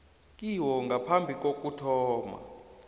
kiwo ngaphambi kokuthoma